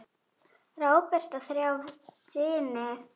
Róbert á þrjá syni.